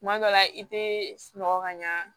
Kuma dɔ la i tɛ sunɔgɔ ka ɲa